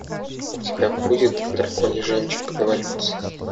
у тебя будет драконий жемчуг эволюция